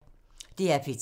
DR P3